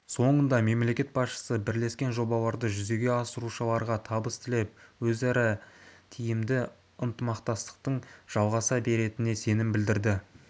соңында мемлекет басшысы бірлескен жобаларды жүзеге асырушыларға табыс тілеп өзара тиімді ынтымақтастықтың жалғаса беретініне сенім білдірді